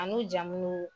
An n'u jamu